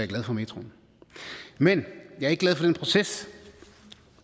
glad for metroen men jeg er ikke glad for den proces